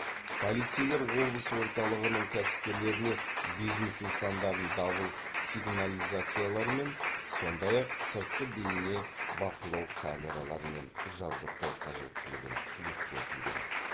полицейлер облыс орталығының кәсіпкерлеріне бизнес нысандарын дабыл сигнализацияларымен сондай ақ сыртқы бейне бақылау камераларымен жабдықтау қажеттілігін ескертуде